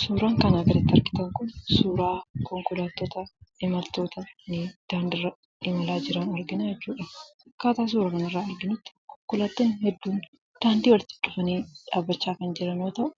Suuraan kanaa gaditti argitan kun suuraa konkolaattota, imaltoota daandiirra imalaa jiran arginaa jirra jechuudha. Akkaataa suuraa kana irraa arginutti konkolaattonni baay'een daandii walitti cufanii dhaabbachaa kan jiran yoo ta'u,